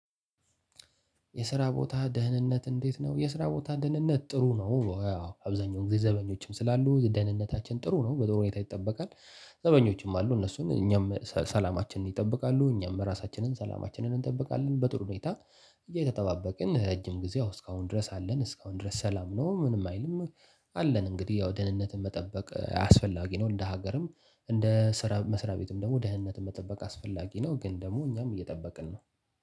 የስራ ቦታ ደህንነት እንዴት ነው? የስራ ቦታ ደህንነት ጥሩ ነው። አብዛኛው ጊዜ ዘበኞችም ስላሉ ደህንነታችን ጥሩ ነው በጥሩ ሁኔታ ይጠበቃል። ዘበኞችም አሉ እነሱን እኛም ሰላማችንን ይጠብቃሉ እኛም ራሳችንን ሰላማችንን እንጠብቃለን በጥሩ ሁኔታ። እየተጠባበቅን ረጅም ጊዜ እስካሁን ድረስ አለን እስካሁን ድረስ ሰላም ነው ምንም አይልም። አለን እንግዲህ ያው ደህንነትን መጠበቅ አስፈላጊ ነው። እንደ ሀገርም እንደ ስራ መስሪያ ቤትም ደግሞ ደህንነት መጠበቅ አስፈላጊ ነው። ግን ደግሞ እኛም እየጠበቅን ነው